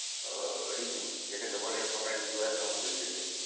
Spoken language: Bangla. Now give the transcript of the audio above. আহ ঋতু। যেটাকে বলে ছটা ঋতু আছে আমাদের দেশে।